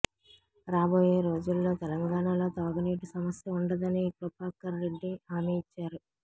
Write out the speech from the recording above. రాబోయే రోజుల్లో తెలంగాణలో తాగునీటి సమస్య ఉండదని కృపాకర్రెడ్డి హామీ ఇచ్చారు